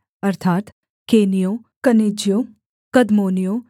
अर्थात् केनियों कनिज्जियों कदमोनियों